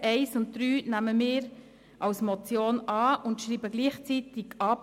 Wir nehmen also die Ziffern 1 und 3 als Motion an und schreiben Sie gleichzeitig ab.